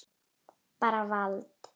Bara vald.